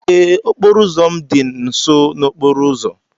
Ee, okporo ụzọ m dị nso n'okporo ụzọ.